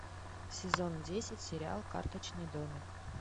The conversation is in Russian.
сезон десять сериал карточный домик